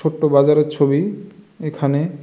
ছোট বাজারের ছবি এখানে।